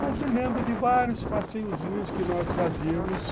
Mas me lembro de vários passeiozinhos que nós fazíamos